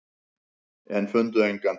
En fundu engan.